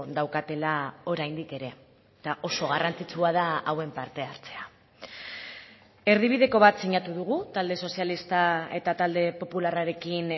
daukatela oraindik ere eta oso garrantzitsua da hauen parte hartzea erdibideko bat sinatu dugu talde sozialista eta talde popularrarekin